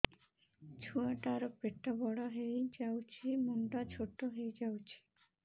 ଛୁଆ ଟା ର ପେଟ ବଡ ହେଇଯାଉଛି ମୁଣ୍ଡ ଛୋଟ ହେଇଯାଉଛି